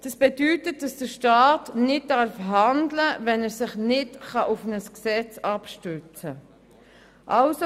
Das bedeutet, dass der Staat nicht handeln darf, wenn er sich nicht auf ein Gesetz abstützen darf.